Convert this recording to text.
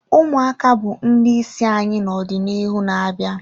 Ụmụaka bụ ndị isi anyị n'ọdịnihu na-abịa